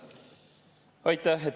Aitäh!